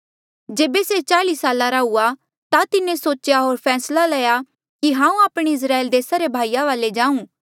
जेबे से चाल्ई साला रा हुएया ता तिन्हें सोचेया होर फैसला लया कि हांऊँ आपणे इस्राएल देसा रे भाईया वाले जाऊं